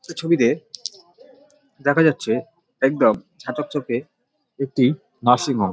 এ ছবিতে দেখা যাচ্ছে একদম ঝা চকচকে একটি নার্সিং হোম ।